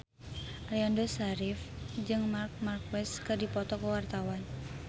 Aliando Syarif jeung Marc Marquez keur dipoto ku wartawan